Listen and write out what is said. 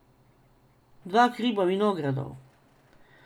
Dva hriba vinogradov.